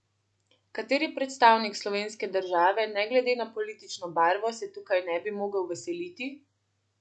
Kateri predstavnik slovenske države, ne glede na politično barvo, se tukaj ne bi mogel veseliti?